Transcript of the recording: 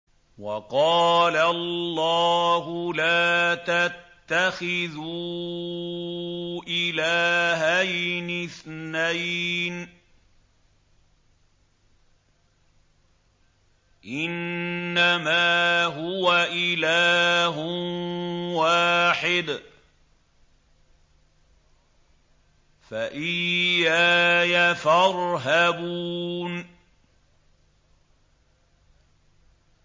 ۞ وَقَالَ اللَّهُ لَا تَتَّخِذُوا إِلَٰهَيْنِ اثْنَيْنِ ۖ إِنَّمَا هُوَ إِلَٰهٌ وَاحِدٌ ۖ فَإِيَّايَ فَارْهَبُونِ